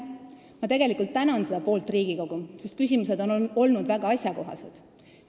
Ma tegelikult tänan seda poolt Riigikogu, sest küsimused on olnud väga asjakohased.